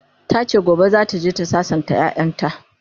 tace gobe zataje ta sassanta ƴaƴanta